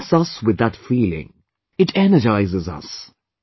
It fills us with that feeling, it energises us